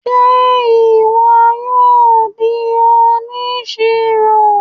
Ṣe ìwò yóò dì òníṣírò?